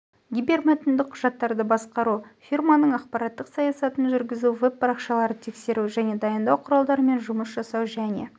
гипермәтінді құжаттарды басқару -те фирманың ақпарттық саясатын жүргізу веб-парақшаларды тексеру және дайындау құралдарымен жұмыс жасау және